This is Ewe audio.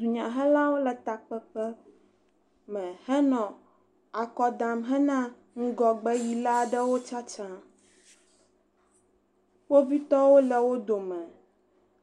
dunya hela ɖewo le takpkpe hele akɔ dam na nugɔgbe yila ɖewo tsatsã kpovitɔwo le wó dome